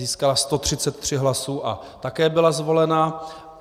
Získala 133 hlasů a také byla zvolena.